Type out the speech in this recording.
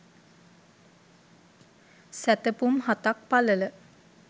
සැතපුම් හතක් පළල